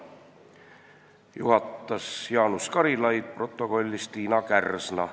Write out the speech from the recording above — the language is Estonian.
Juhatas Jaanus Karilaid, protokollis Tiina Kärsna.